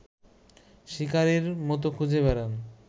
শিকারির মতো খুঁজে বেড়ান